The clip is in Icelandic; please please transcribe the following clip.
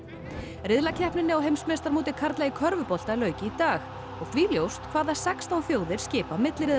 riðlakeppninni á heimsmeistaramóti karla í körfubolta lauk í dag og því ljóst hvaða sextán þjóðir skipa